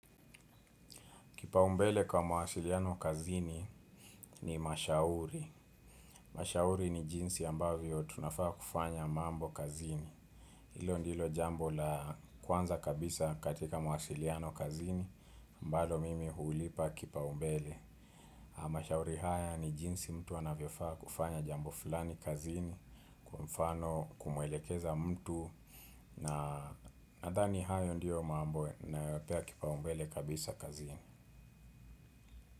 Kipa umbele kwa mawasiliano kazini ni mashauri. Mashauri ni jinsi ambavyo tunafaa kufanya mambo kazini. Hilo ndilo jambo la kwanza kabisa katika mawasiliano kazini, ambalo mimi huulipa kipa umbele. Na mashauri haya ni jinsi mtu anavyofaa kufanya jambo fulani kazini, kwa mfano kumwelekeza mtu na nadhani hayo ndiyo mambo nayoyapea kipa umbele kabisa kazini.